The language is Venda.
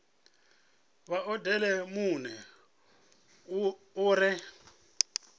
vha odele muno u re